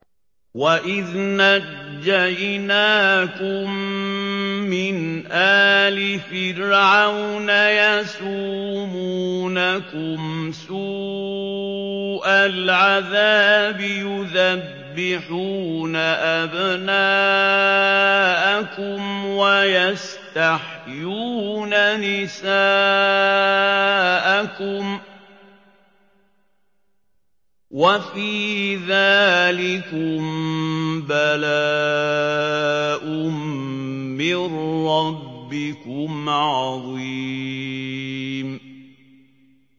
وَإِذْ نَجَّيْنَاكُم مِّنْ آلِ فِرْعَوْنَ يَسُومُونَكُمْ سُوءَ الْعَذَابِ يُذَبِّحُونَ أَبْنَاءَكُمْ وَيَسْتَحْيُونَ نِسَاءَكُمْ ۚ وَفِي ذَٰلِكُم بَلَاءٌ مِّن رَّبِّكُمْ عَظِيمٌ